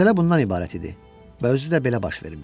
Məsələ bundan ibarət idi və özü də belə baş vermişdi.